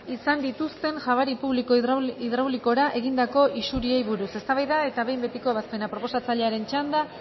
izan dituzten jabari publiko hidraulikora egindako isuriei buruz eztabaida eta behin betiko ebazpena proposatzailearen txanda